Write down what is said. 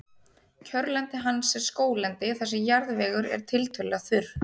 Kjörlendi hans er skóglendi þar sem jarðvegur er tiltölulega þurr.